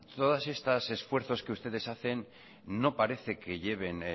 todas estas esfuerzos que ustedes hacen no parece que lleven